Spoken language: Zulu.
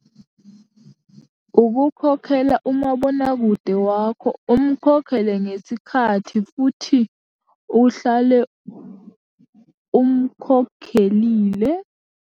Ukukhokhela umabonakude wakho, umkhokhele ngesikhathi futhi uhlale umkhokhelile.